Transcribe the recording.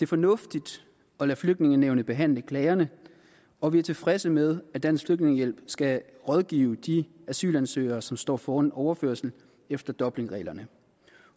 fornuftigt at lade flygtningenævnet behandle klagerne og vi er tilfredse med at dansk flygtningehjælp skal rådgive de asylansøgere som står foran en overførelse efter dublinreglerne